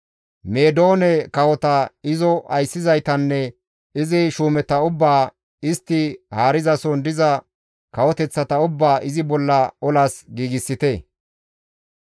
Meedoone kawota, izo ayssizaytanne izi shuumeta ubbaa, istti haarizason diza kawoteththata ubbaa izi bolla olas giigsite.